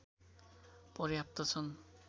पर्याप्त छन्